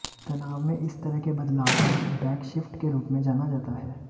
तनाव में इस तरह के बदलाव को बैकशीफ्ट के रूप में जाना जाता है